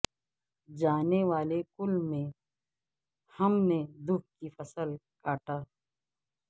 جانے والے کل میں ہم نے دکھ کی فصل کو کاٹا